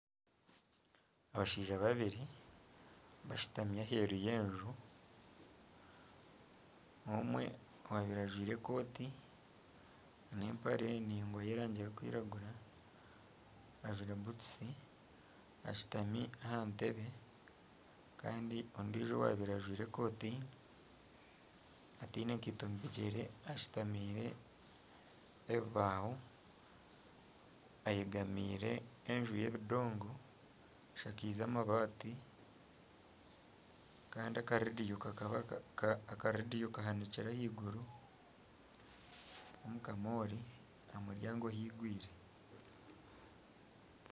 Abashaija babiri bashutami aheru y'enju, omwe owaabaire ajwire ekooti, n'empare ndaingwa y'erangi erikwiragura ajwire butusi ashutami aha ntebe kandi ondiijo owaabaire ajwire ekooti ataine nkaito omu bigyere ashutamiire embaho, eyegamiire enju y'ebidongo eshakaize amabaati kandi akareediyo kahinikire ahaiguru omukamoori aha muryango haigwire